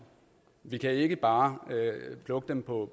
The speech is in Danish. vi kan ikke bare plukke dem på